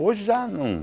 Hoje já não.